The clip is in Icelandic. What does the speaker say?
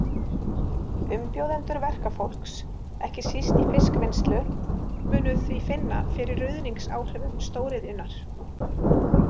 Umbjóðendur verkafólks, ekki síst í fiskvinnslu, munu því finna fyrir ruðningsáhrifum stórðiðjunnar .